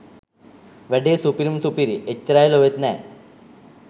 වැඩේ සුපිරිම සුපිරි එච්චචරයි ලොවෙත් නෑ.